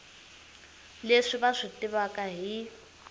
leswi va swi tivaka hi